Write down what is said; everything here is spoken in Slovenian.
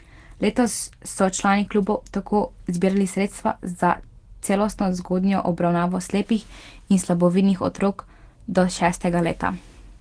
Letos so člani klubov tako zbirali sredstva za celostno zgodnjo obravnavo slepih in slabovidnih otrok do šestega leta.